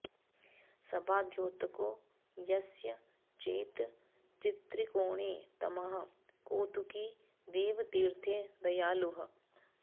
सभाद्योतको यस्य चेत् त्रित्रिकोणे तमः कौतुकी देवतीर्थे दयालुः